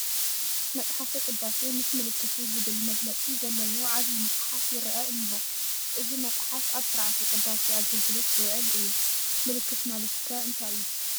መፅሓፈ ቅዳሴ ምስ ምልክቱ ዝብል መግለፂ ዘለዎ ዓብዪ መፅሓፍ ይረአ እኔሆ፡፡ እዚ መፅሓፍ ኣብ ስርዓተ ቅዳሴ ኣገልግሎት ዝውዕል እዩ፡፡ ምልክት ማለት ከ እንታይ እዩ?